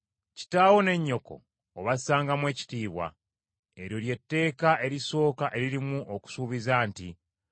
“Kitaawo ne nnyoko obassangamu ekitiibwa,” eryo lye tteeka erisooka eririmu okusuubiza nti: